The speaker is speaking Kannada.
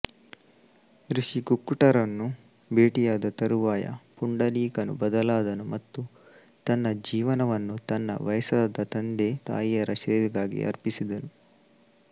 ಋಷಿ ಕುಕ್ಕುಟರನ್ನು ಭೇಟಿಯಾದ ತರುವಾಯ ಪುಂಡಲೀಕನು ಬದಲಾದನು ಮತ್ತು ತನ್ನ ಜೀವನವನ್ನು ತನ್ನ ವಯಸ್ಸಾದ ತಂದೆ ತಾಯಿಯರ ಸೇವೆಗಾಗಿ ಅರ್ಪಿಸಿದನು